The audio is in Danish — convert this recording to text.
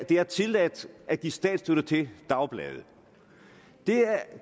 det er tilladt at give statsstøtte til dagblade